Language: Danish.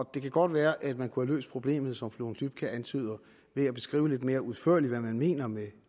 kan godt være at man kunne have løst problemet som fru lone dybkjær antyder ved at beskrive lidt mere udførligt hvad man mener med